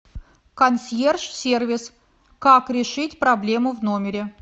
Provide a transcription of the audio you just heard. консьерж сервис как решить проблему в номере